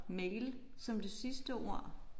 Mail som det sidste ord